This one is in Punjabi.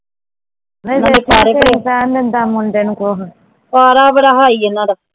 ਪਾਰਾ ਬੜਾ high ਹੈ ਇਹਨਾਂ ਦਾ